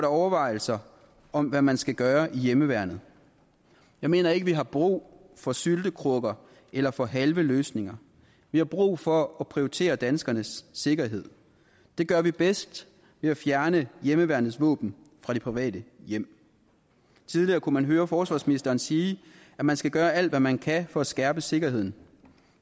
overvejelser om hvad man skal gøre i hjemmeværnet jeg mener ikke vi har brug for syltekrukker eller for halve løsninger vi har brug for at prioritere danskernes sikkerhed det gør vi bedst ved at fjerne hjemmeværnets våben fra de private hjem tidligere kunne man høre forsvarsministeren sige at man skal gøre alt hvad man kan for at skærpe sikkerheden